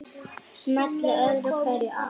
Smellti öðru hverju af.